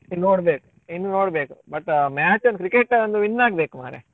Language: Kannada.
ಇನ್ನ್ ನೋಡ್ಬೇಕು ಇನ್ನು ನೋಡ್ಬೇಕು but match ಒಂದು cricket ಒಂದು win ಆಗ್ಬೇಕು ಮಾರ್ರೆ.